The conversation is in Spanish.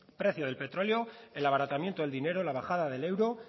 precio del petróleo el abaratamiento del dinero la bajada del euro